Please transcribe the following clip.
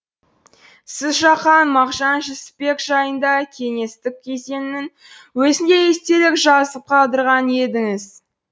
сіз жақаң мағжан жүсіпбек жайында кеңестік кезеңнің өзінде естелік жазып қалдырған едіңіз